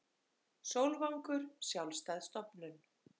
Sólvangur sjálfstæð stofnun